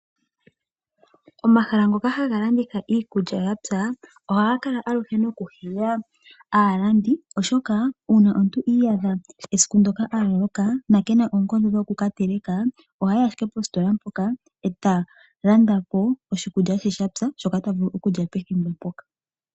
Omahala ngoka haga landitha iikulya yapya ohaga kala aluhe nokuhila aalandi oshoka uuna omuntu i iyadha esiku ndoka aloloka kena oonkondo dhokutekela ohayi ashike positola mpoka eta landa po oshikulya she shoka shapya shoka tavulu okulya pethimbo mpoka.